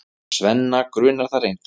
Svenna grunar það reyndar.